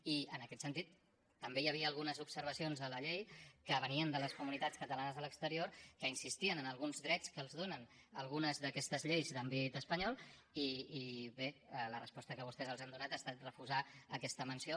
i en aquest sentit també hi havia algunes observacions a la llei que venien de les comunitats catalanes a l’exterior que insistien en alguns drets que els donen algunes d’aquestes lleis d’àmbit espanyol i bé la resposta que vostès els han donat ha estat refusar aquesta menció